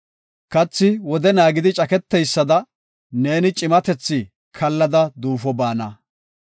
Kathi wode naagidi caketeysada, neeni cimatethi kaallada duufo baana.